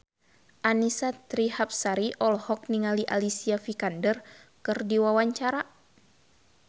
Annisa Trihapsari olohok ningali Alicia Vikander keur diwawancara